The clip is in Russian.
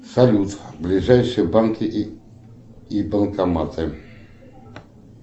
салют ближайшие банки и банкоматы